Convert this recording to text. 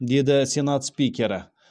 деді сенат спикері